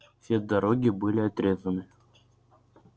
все дороги были отрезаны